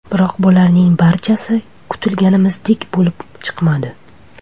Biroq bularning barchasi kutganimizdek bo‘lib chiqmadi.